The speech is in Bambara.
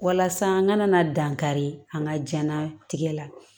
Walasa n ka na dankari an ka jɛnnatigɛ la